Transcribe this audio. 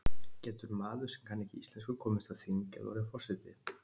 Getur maður sem kann ekki íslensku komist á þing eða orðið forseti?